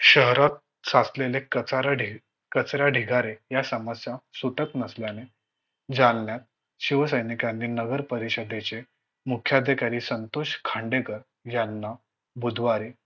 शहरात साचलेले कचारडे कचरा ढिगारे या समस्यां सुटत नसल्याने जालन्यात शिवसैनिकाने नगरपरिषदेचे मुख्य अधिकारी संतोष खांडेकर यांना बुधवारी